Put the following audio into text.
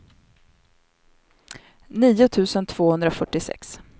nio tusen tvåhundrafyrtiosex